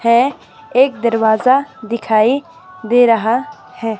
है एक दरवाजा दिखाई दे रहा है।